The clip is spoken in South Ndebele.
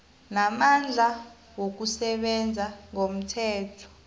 namandla wokusebenza ngomthetho